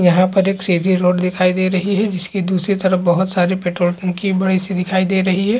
यहाँ पर एक सीधी रोड दिखाई दे रही है जिसकी दूसरी तरफ बोहत सारी पेट्रोल टन्की बड़ी -सी दिखाई दे रही हैं ।